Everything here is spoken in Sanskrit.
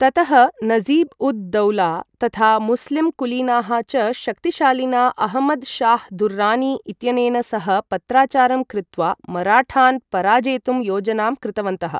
ततः नजीब् उद् दौला तथा मुस्लिम् कुलीनाः च शक्तिशालिना अहमद् शाह् दुर्रानी इत्यनेन सह पत्राचारं कृत्वा मराठान् पराजेतुं योजनां कृतवन्तः।